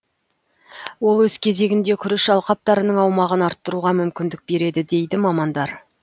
ол өз кезегінде күріш алқаптарының аумағын арттыруға мүмкіндік береді дейді мамандар